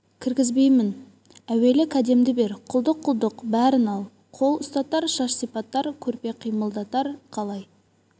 кіргізбеймін әуелі кәдемді бер құлдық-құлдық бәрін ал қол ұстатар шаш сипатар көрпе қимылдатар қалай